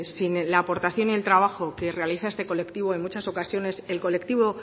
sin la aportación y el trabajo que realiza este colectivo en muchas ocasiones